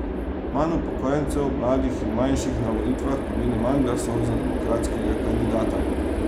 Manj upokojencev, mladih in manjšin na volitvah pomeni manj glasov za demokratskega kandidata.